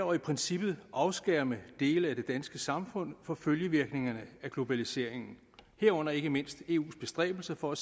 og i princippet afskærme dele af det danske samfund fra følgevirkningerne af globaliseringen herunder ikke mindst eus bestræbelser på at